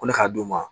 Ko ne ka d'u ma